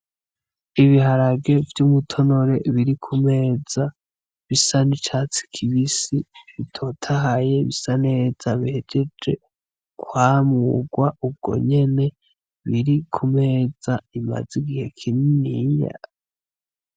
Ibiharage vy'umutonore biri kumeza bisa n'icatsi kibisi bitotahaye ,bisa neza bihejeje kwamurwa ubwo nyene biri kumeza bimaze igihe kininiya.